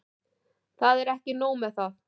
Það er ekki nóg með það.